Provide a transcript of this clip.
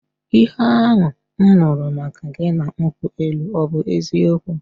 Ihe ahụ m nụrụ maka gị na nkwụ elu ọ bụ eziokwu?